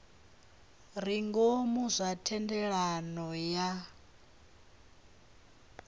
re ngomu zwa thendelano ya